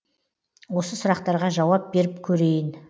осы сұрақтарға жауап беріп көрейін